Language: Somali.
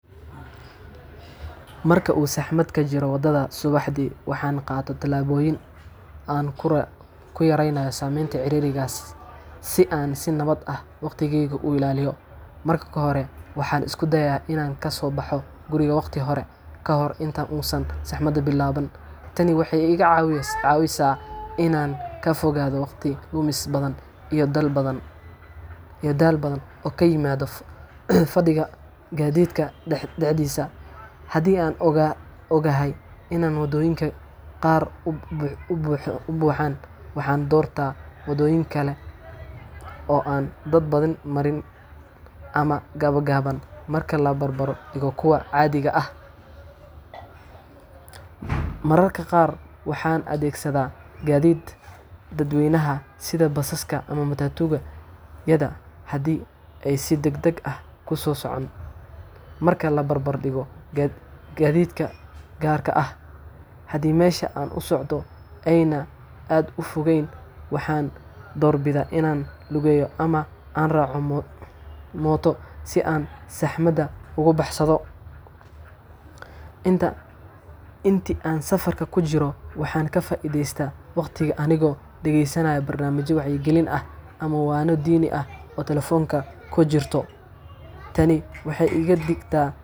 Marka dadka Abood matoor uhaystaan beeraha kaleete hilibka Kan oo kale salad waxaa lagu daraa nyanya iyo saliid zeitun tani waxeey ubahan tahay qalab iyo khibrad gaar ahaan marka aay tagto isbitaalka waxaa lagu daraa nyanya lajarjaray boosha waxaa kaleeto oo lakeedin karaa waa sariir lagu seexanay ama waxaan isticmaalaa shidiyaha gacanta aad aay usiman tahay meel qaboow qalalan waxeey dadku waxeey bankiga wuxuuna siinaya adeegsadaha amni iyo xasilooni ayado laga taxadaayo in aay tababar gaar ahaan marka aay tagto isbitaalka waxaa lagu daraa nyanya lajarjaray boosha waxaa kaleeto oo lagu tukameysto oo lagu tukameysto oo aadka looga yaqaano kenya gaar ahaan marka aay tagto isbitaalka ugu yaraan afar.